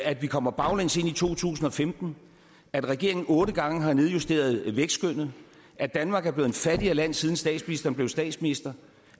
at vi kommer baglæns ind i to tusind og femten at regeringen otte gange har nedjusteret vækstskønnet at danmark er blevet et fattigere land siden statsministeren blev statsminister